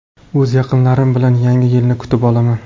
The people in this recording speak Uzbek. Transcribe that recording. O‘z yaqinlarim bilan yangi yilni kutib olaman.